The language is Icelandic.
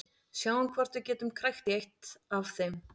Sjáum hvort við getum krækt í eitt af þeim.